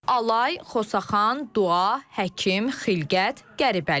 Alay, Xosaxan, Dua, Həkim, Xilqət, Qəribəli.